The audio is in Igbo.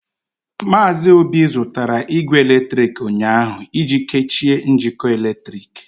Maazị Obi zụtara igwe eletrịkị ụnyaahụ iji kechie njikọ eletrik.